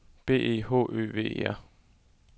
B E H Ø V E R